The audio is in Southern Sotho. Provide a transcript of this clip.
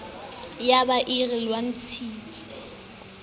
ya be e re elellisitswe